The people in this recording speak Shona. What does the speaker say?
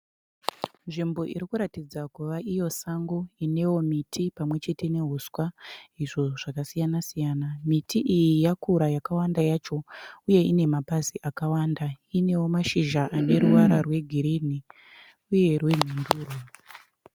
Nzvimbo iri kuratidza kuva iyo sango inewo miti pamwe chete nehuswa izvo zvakasiyana siyana miti iyi yakura yakawanda yacho uye ine mapazi akawanda inewo mashizha ane ruvara rwegirini uye rwenhunduru.